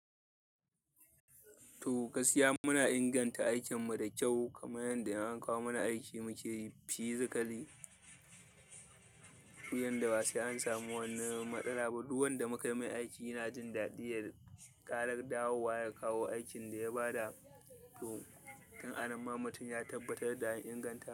To gassiya muna inganta aikin mu da kyau kamar yadda an kawo mana aiki mu ke yi fizakali. To yanda ba sai an samu wani matsala ba. Duk wanda muka mai aiki yana jin daɗi ya ƙara dawowa ya kawo aikin da ya ba da. To kan anan ma mutum ya tabbatar da inganta.